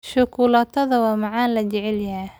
Shukulaatada waa macmacaan la jecel yahay.